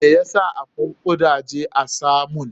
Me ya sa akwai gudaje a samon?